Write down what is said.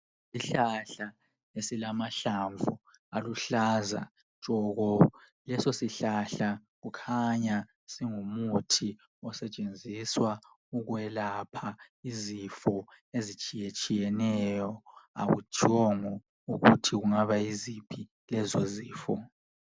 Isihlahla esilamahlamvu aluhlaza tshoko. Leso sihlahla kukhanya singumuthi osetshenziswa ukwelapha izifo ezitshiyetshiyeneyo, akutshiwongo ukuthi kungaba yiziphi lezo zifo.